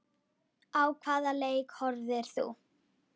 Á hvaða leik horfðir þú?